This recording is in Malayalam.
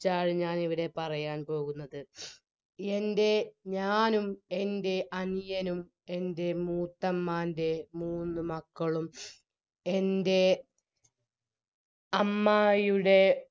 ചാണ് ഇവിടെ പറയാൻ പോകുന്നത് എൻറെ ഞാനും എൻറെ അനിയനും എൻറെ മൂത്തമ്മാൻറെ മൂന്ന് മക്കളും എൻറെ അമ്മായിയുടെ